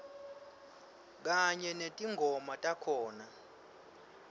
kanye netingoma takhona